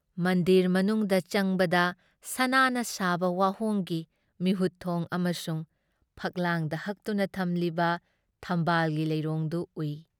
ꯃꯟꯗꯤꯔ ꯃꯅꯨꯡꯗ ꯆꯪꯕꯗ ꯁꯅꯥꯅ ꯁꯥꯕ ꯋꯥꯍꯣꯡꯒꯤ ꯃꯤꯍꯨꯠꯊꯣꯡ ꯑꯃꯁꯨꯡ ꯐꯛꯂꯥꯡꯗ ꯍꯠꯇꯨꯅ ꯊꯝꯂꯤꯕ ꯊꯝꯕꯥꯜꯒꯤ ꯂꯩꯔꯣꯡꯗꯨ ꯎꯏ ꯫